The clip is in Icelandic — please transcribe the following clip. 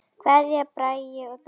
Kveðja, Bragi og Dagný.